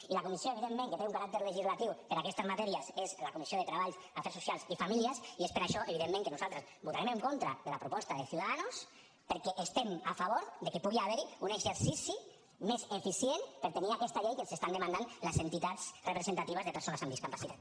i la comissió evidentment que té un caràcter legislatiu per a aquestes matèries és la comissió de treball afers socials i famílies i és per això evidentment que nosaltres votarem en contra de la proposta de ciudadanos perquè estem a favor que pugui haver hi un exercici més eficient per tenir aquesta llei que ens estan demandant les entitats representatives de persones amb discapacitat